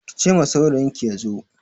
Ki ce ma saurayinki ya zo!